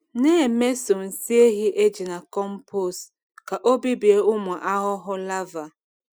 Na-emeso nsị ehi eji na compost ka ọ bibie ụmụ ahụhụ larvae.